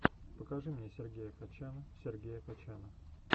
покажи мне сергея качана сергея качана